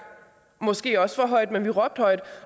måske også for højt men vi råbte højt